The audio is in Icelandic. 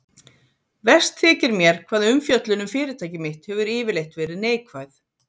Verst þykir mér hvað umfjöllun um fyrirtæki mitt hefur yfirleitt verið neikvæð.